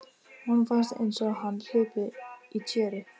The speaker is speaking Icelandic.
Honum fannst einsog hann hlypi í tjöru.